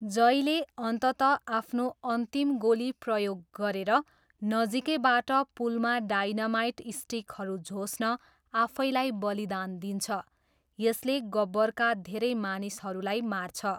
जयले अन्ततः आफ्नो अन्तिम गोली प्रयोग गरेर नजिकैबाट पुलमा डाइनामाइट स्टिकहरू झोस्न आफैलाई बलिदान दिन्छ, यसले गब्बरका धेरै मानिसहरूलाई मार्छ।